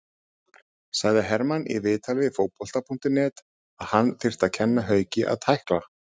Sagði Hermann í viðtali við Fótbolta.net að hann þyrfti að kenna Hauki að tækla.